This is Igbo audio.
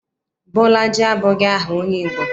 Bolaji abụghị aha onye Igbo.